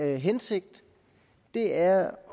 hensigt er